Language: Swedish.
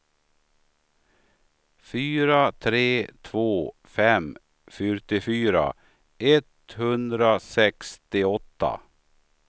fyra tre två fem fyrtiofyra etthundrasextioåtta